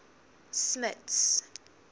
smuts